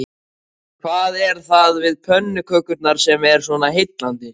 En hvað er það við pönnukökurnar sem er svona heillandi?